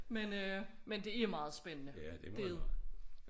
Men øh men det er meget spændende det